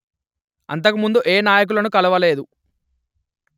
అంతకుముందు ఏ నాయకులను కలువలేదు